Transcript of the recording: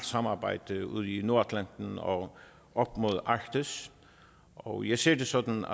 samarbejde ude i nordatlanten og op mod arktis og jeg ser det sådan